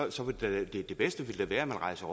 ville det bedste da være at man rejser